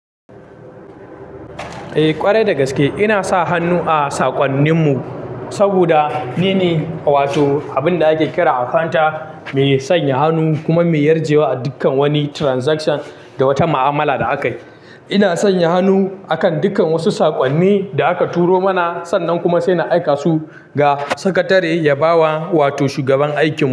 Eh ƙwarai dagaske, ina sa hannu a saƙonnin mu saboda nine wato abun da ake kira accounter me sanya hannu kuma me yarjewa dukkan wani transaction da wata ma'amala da aka yi. Ina sanya hannu akan dukkan wasu saƙonni da aka turo mana sannan kuma sai na aika su ga sakatare ya bawa wato shugaban aikin mu.